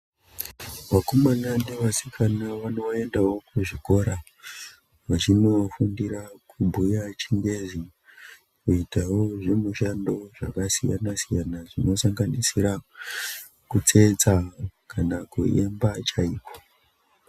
Vakomana ne vasikana vano endawo ku zvikora vachino fundira kubhuya chingezi kuitawo zvi mishando zvaka siyana siyana zvino sanganisira kutsetsa kana kuimba chaiko.